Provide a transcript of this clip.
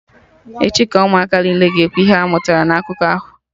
Echi ka Ụmụaka niile ga-ekwu ihe ha mụtara na akụkọ ahụ